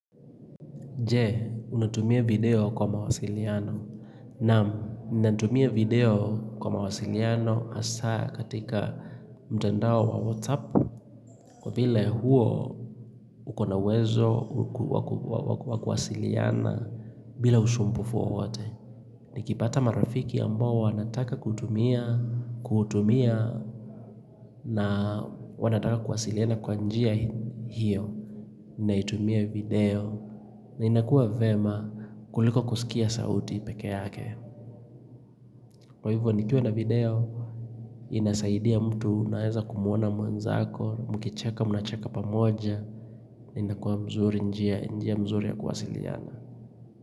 Je, unatumia video kwa mawasiliano. Naam, natumia video kwa mawasiliano hasa katika mtandao wa WhatsApp. Kwa vile huo ukonauwezo wakuwasiliana bila usumbufu wowote. Nikipata marafiki ambao wanataka kutumia na wanataka kuwasaliana na kwa njia hiyo. Naitumia video na inakua vyema kuliko kusikia sauti peke yake Kwa hivyo nikiwa na video inasaidia mtu naeza kumwona mwanzako Mukicheka mnacheka pamoja na inakua mzuri njia mzuri ya kuwasiliana.